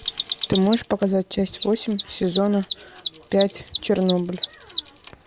ты можешь показать часть восемь сезона пять чернобыль